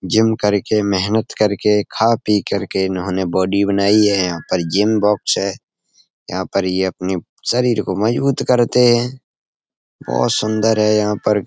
Gym करके मेहनत करके खा-पी करके इन्होंने बॉडी बनाई है। यहाँ पर जिम बॉक्स है। यहाँ पर ये अपनी शरीर को मजबूत करते हैं। बोहोत सुंदर है यहाँ पर --